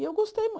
E eu gostei